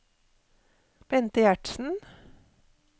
Bente Gjertsen